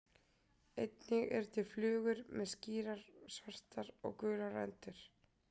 Einnig eru til flugur með skýrar svartar og gular rendur.